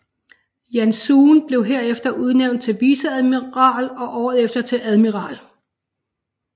Janszoon blev herefter udnævnt til viceadmiral og året efter til admiral